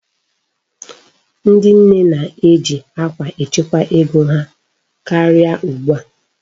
Ndị nne na-eji akwa echekwa ego ha karịa ugbu a.